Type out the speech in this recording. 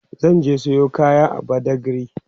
zan je Sayo kaya a badagry